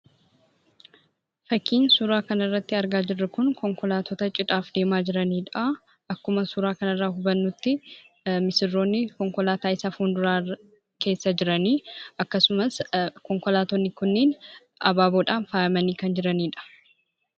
Fakkiin suuraa kana irratti argaa jirru kun, konkolaatota cidhaaf deemaa jiranidha. Akkuma suuraa kanarraa hubannutti, missirroonni konkolaataa isa fuulduraarra, keessa jiranii, akkasumas konkolaattonni kunniin abaaboodhaan faayyamanii kan jiranidha.